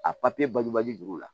A bagubaji dugu la